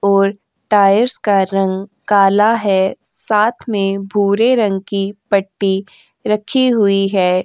और टाइल्स का रंग काला है साथ में भूरे रंग की पट्टी रखी हुई है।